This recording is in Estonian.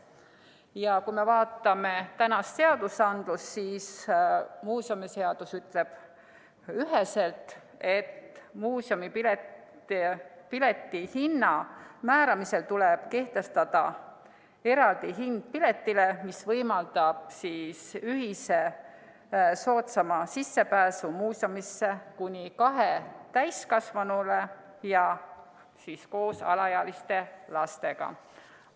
Ja kui me vaatame praegusi õigusakte, siis muuseumiseadus ütleb üheselt, et muuseumipileti hinna määramisel tuleb kehtestada eraldi hind piletile, mis võimaldab ühise soodsama sissepääsu muuseumisse kuni kahel täiskasvanul koos alaealiste lastega.